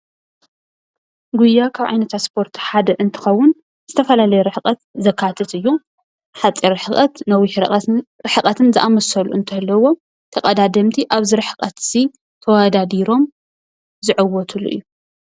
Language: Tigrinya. ጉያ ካብ ዓይነታት ስፖርቲ ሓደ እንትኸውን ዝተፈላለየ ርሕቐት ዘካትት እዩ። ሓፂር ርሕቐት ፣ነዊሕ ርሕቐትን ዝኣመሰሉ እንትህልውዎ ተቀዳደምቲ ኣብዚይ ርሕቐት እዚ ተወዳዲሮም ዝዕወትሉ እዩ።